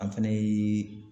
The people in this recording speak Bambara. An fɛnɛ ye